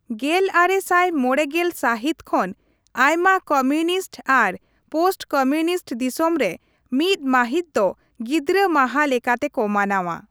ᱜᱮᱞ ᱟᱨᱮ ᱥᱟᱭ ᱢᱚᱲᱮ ᱜᱮᱞ ᱥᱟᱹᱦᱤᱛ ᱠᱷᱚᱱ, ᱟᱭᱢᱟ ᱠᱚᱢᱤᱭᱩᱱᱤᱥᱴ ᱟᱨ ᱯᱳᱥᱴᱼᱠᱚᱢᱤᱭᱩᱱᱤᱥᱴ ᱫᱤᱥᱚᱢ ᱨᱮ ᱢᱤᱛ ᱢᱟᱹᱦᱤᱛ ᱫᱚ ᱜᱤᱫᱽᱨᱟᱹ ᱢᱟᱦᱟ ᱞᱮᱠᱟᱛᱮ ᱠᱚ ᱢᱟᱱᱟᱣᱟ ᱾